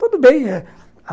Tudo bem eh